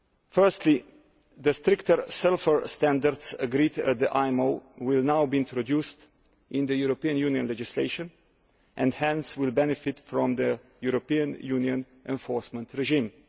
Firstly, the stricter sulphur standards agreed at the IMO will now be introduced into European Union legislation and hence will benefit from the European Union enforcement regime.